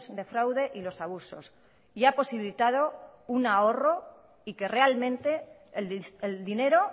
de fraude y los abusos y ha posibilitado un ahorro y que realmente el dinero